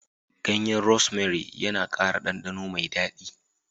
Ganyen Rosemary yana ƙara ɗanɗano mai daɗi